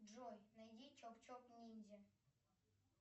джой найди чоп чоп ниндзя